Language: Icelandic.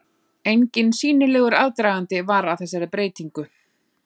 Enginn sýnilegur aðdragandi var að þessari breytingu.